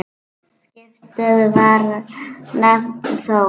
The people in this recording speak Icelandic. Skipið var nefnt Þór.